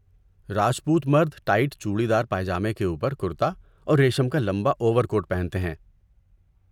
راجپوت مرد tight churidar pyjama کے اوپر کرتا اور ریشم کا لمبا اوور کوٹ پہنتے ہیں۔